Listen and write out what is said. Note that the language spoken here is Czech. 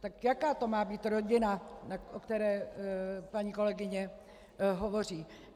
Tak jaká to má být rodina, o které paní kolegyně hovoří?